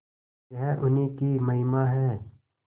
यह उन्हीं की महिमा है